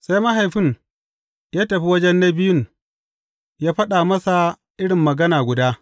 Sai mahaifin ya tafi waje na biyun ya faɗa masa iri magana guda.